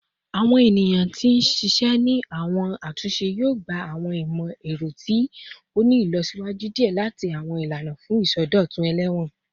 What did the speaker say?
Awọn eniyan ti n ṣiṣẹ ni awọn atunṣe yoo gba awọn imọ-ẹrọ to ti ni ilọsiwaju diẹ sii ati awọn ilana fun isọdọtun elewon